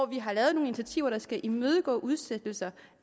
vi har lavet nogle initiativer der skal imødegå udsættelser